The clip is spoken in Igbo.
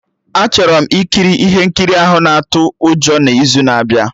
Achọrọ m ikiri ihe nkiri ahụ na-atụ ụjọ n'izu na-abịa